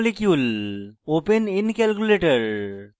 open in calculator